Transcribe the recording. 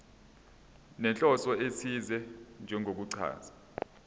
nenhloso ethize njengokuchaza